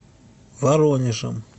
воронежем